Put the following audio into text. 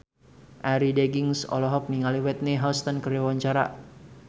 Arie Daginks olohok ningali Whitney Houston keur diwawancara